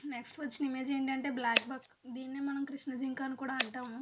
Next వచ్చిన image ఏంటంటే black buck దీన్నే మనం కృష్ణజింక అని కూడా అంటాము.